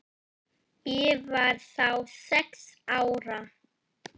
Ég var þá sex ára.